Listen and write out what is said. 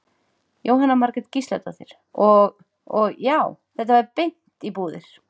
Jóhanna Margrét Gísladóttir: Og, og já, þetta fer beint í búðir?